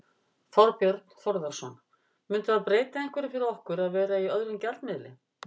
Þorbjörn Þórðarson: Myndi það breyta einhverju fyrir okkur að vera í öðrum gjaldmiðli?